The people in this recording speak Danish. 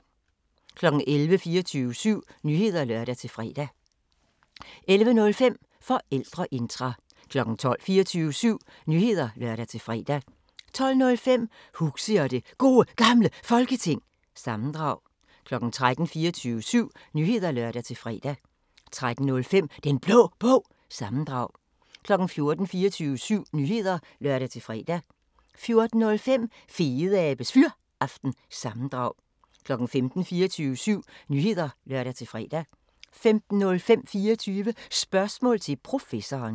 11:00: 24syv Nyheder (lør-fre) 11:05: Forældreintra 12:00: 24syv Nyheder (lør-fre) 12:05: Huxi og det Gode Gamle Folketing – sammendrag 13:00: 24syv Nyheder (lør-fre) 13:05: Den Blå Bog – sammendrag 14:00: 24syv Nyheder (lør-fre) 14:05: Fedeabes Fyraften – sammendrag 15:00: 24syv Nyheder (lør-fre) 15:05: 24 Spørgsmål til Professoren